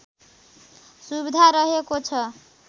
सुविधा रहको छ